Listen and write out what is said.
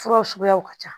Furaw suguyaw ka ca